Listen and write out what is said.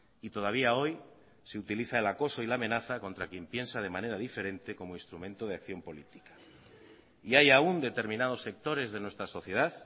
y todavía hoy se utiliza el acoso y la amenaza contra quien piensa de manera diferente como instrumento de acción política y hay aún determinados sectores de nuestra sociedad